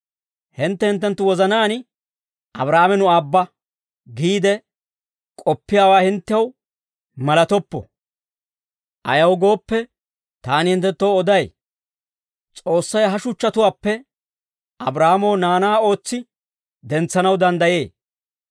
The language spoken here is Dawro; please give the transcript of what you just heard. Hintte hinttenttu wozanaan, ‹Abraahaame nu aabba› giide k'oppiyaawaa hinttew malatoppo. Ayaw gooppe, taani hinttenttoo oday; S'oossay ha shuchchatuwaappe Abraahaamoo naanaa ootsi dentsanaw danddayee.